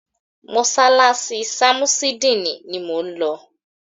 Mọ́sálásí ṣamusidini ni mọ ń lọ.